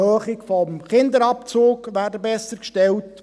ich denke vor allem an die Erhöhung des Kinderabzugs.